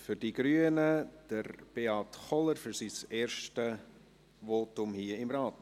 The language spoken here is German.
Für die Grünen spricht Beat Kohler, es ist sein erstes Votum im Grossen Rat.